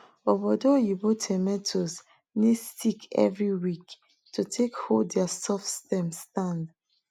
obodo oyibo tomatoes need stick every week to take hold their soft stem stand